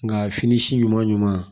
Nka fini si ɲuman ɲuman ɲuman